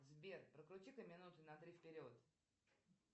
сбер прокрути ка минуты на три вперед